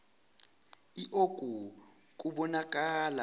l oku kubonakala